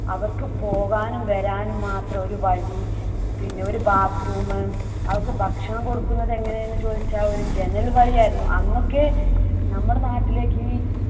അവർക്ക് പോകാനും വരാനും മാത്രം ഒരു വഴി. പിന്നെ ഒരു bathroom. അവർക്ക് ഭക്ഷണം കൊടുക്കുന്നത് എങ്ങനെ എന്ന് ചോദിച്ചാൽ ഒരു ജനൽ വഴിയായിരുന്നു. അന്നൊക്കെ നമ്മുടെ നാട്ടിലേക്ക്